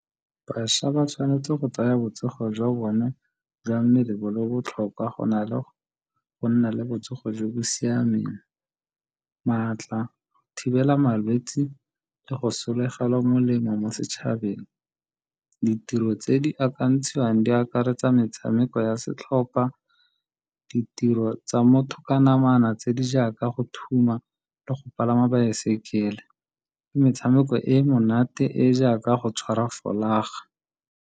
Bašwa ba tshwanetse go tsaya botsogo jwa bone jwa mmele bo le botlhokwa go na le go nna le botsogo jo bo siameng, maatla, thibela malwetsi le go sologela molemo mo setšhabeng. Ditiro tse di akantshang di akaretsa metshameko ya setlhopha, ditiro tsa motho ka namana tse di jaaka go thuma le go palama baesekele le metshameko e e monate e jaaka go tshwara folaga.